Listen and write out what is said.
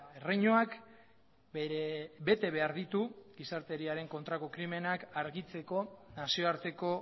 erreinuak bere betebehar ditu gizarteriaren kontrako krimenak argitzeko nazioarteko